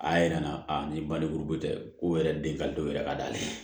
A y'a yira n na a ni baliku tɛ ko yɛrɛ den ka don yɛrɛ ka d'ale ye